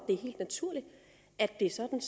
er helt naturligt at det er sådan